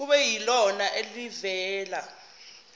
kube yilona elivela